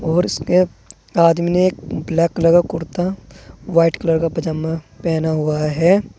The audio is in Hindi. और उसके आदमी ने एक ब्लैक कलर का कुर्ता व्हाइट कलर का पजामा पहना हुआ है।